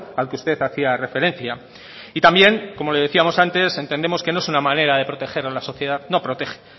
al que usted hacía referencia y también como le decíamos antes entendemos que no es una manera de proteger a la sociedad no protege